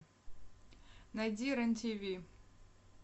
найди рен тв